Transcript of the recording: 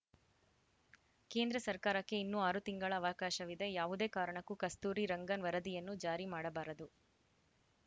ಕೇಂದ್ರ ಸರ್ಕಾರಕ್ಕೆ ಇನ್ನೂ ಆರು ತಿಂಗಳ ಅವಕಾಶವಿದೆ ಯಾವುದೇ ಕಾರಣಕ್ಕೂ ಕಸ್ತೂರಿ ರಂಗನ್‌ ವರದಿಯನ್ನು ಜಾರಿ ಮಾಡಬಾರದು